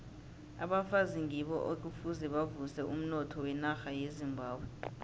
abafazi ngibo ekufuze bavuse umnotho wenarha yezimbabwe